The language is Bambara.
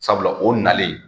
Sabula o nalen